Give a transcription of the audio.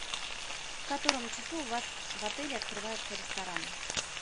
в котором часу у вас в отеле открывается ресторан